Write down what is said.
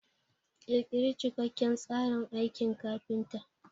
Ƙirƙiri cikakken tsarin aikin kafinta.